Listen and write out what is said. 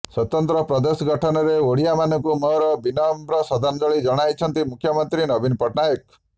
ସ୍ବତନ୍ତ୍ର ପ୍ରଦେଶ ଗଠନରେ ଓଡିଆମାନଙ୍କୁ ମୋର ବିନମ୍ର ଶ୍ରଦ୍ଧାଞ୍ଜଳି ଜଣାଇଛନ୍ତି ମୁଖ୍ୟମନ୍ତ୍ରୀ ନବୀନ ପଟ୍ଟନାୟକ